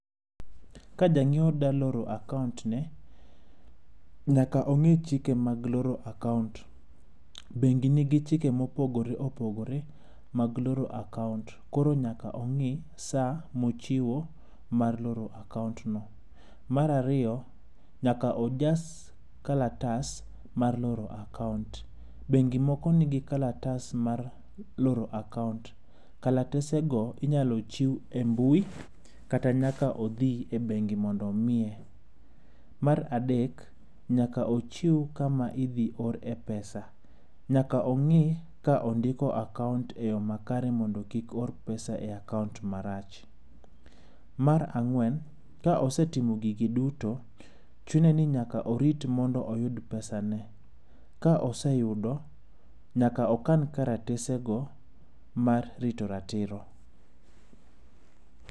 Ka janyiewo dwa loro akaont ne, nyaka olu chike mag loro akaont. Bengi nigi chike mopogore opogore mag loro akaont koro nyaka ong'i saa mochiwo mar loro akaont no. Mar ariyo, nyaka ojas kalatas mar loro akaont no. Jomoko ni gi kalatas mar loro akaont. Bengi moko ni gi kalatas mar loro akaont, kalatese go inyalo chiw embui, kata nyaka odhi e bengi mondo omiye. Mar adek, nyaka ochiw kama idhi orie pesa. Nyaka ong'i ka ondiko akaont eyo makare mondo kik oor pesa e akaont marach. Mar ang'wen, ka osetimo gigi duto, chune ni nyaka orit mondo oyud pesane. Ka oseyudo, nyaka okan kalatesego mar rito ratiro.